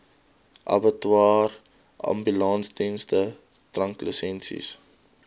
abattoirs ambulansdienste dranklisensies